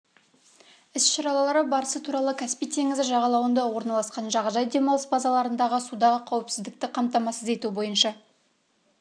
іс-шаралары барысы туралы каспий теңізі жағалауында орналасқан жағажай демалыс базаларындағы судағы қауіпсіздікті қамтамасыз ету бойынша